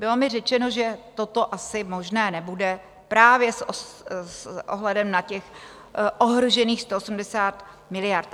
Bylo mi řečeno, že toto asi možné nebude právě s ohledem na těch ohrožených 180 miliard.